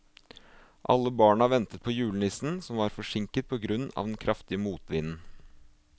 Alle barna ventet på julenissen, som var forsinket på grunn av den kraftige motvinden.